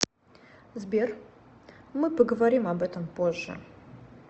сбер мы поговорим об этом позже